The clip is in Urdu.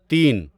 تین